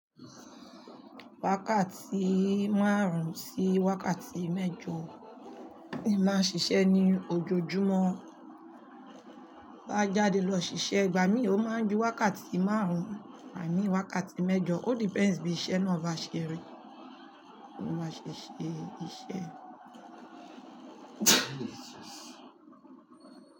Wákàtí márùn-ún sí wákàtí mẹ́jọ ni màá ṣiṣẹ́ ní ojoojúmọ́. Bá jáde lọ ṣiṣẹ́, ìgbà mí ò máa ju wákàtí márùn-ún igbàmí wákàtí mẹ́jọ. Ó depends bí iṣẹ́ náà bá ṣẹrí, bí mo bá ṣe ṣe iṣẹ́.